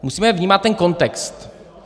Musíme vnímat ten kontext.